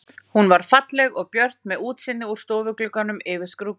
Hún var falleg og björt með útsýni úr stofugluggunum yfir skrúðgarðinn.